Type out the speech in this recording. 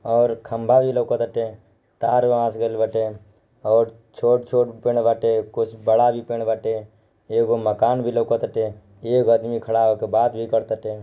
ओर खम्बा ई लोकत आटे तार वहां से गेल बाटे ओर छोट छोट पेड़ बाटे कुछ बड़ा भी पेड़ बाटे एक मकान भी लोकत आटे एक आदमी खडा है बात भी करत आटे।